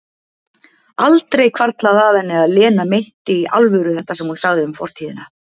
Aldrei hvarflað að henni að Lena meinti í alvöru þetta sem hún sagði um fortíðina.